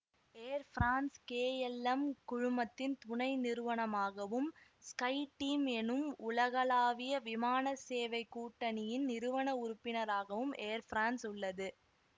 ஏர் பிரான்ஸ்கே L M குழுமத்தின் துணை நிறுவனமாகவும் ஸ்கை டீம் எனும் உலகளாவிய விமான சேவை கூட்டணியின் நிறுவன உறுப்பினராகவும் ஏர் பிரான்ஸ் உள்ளது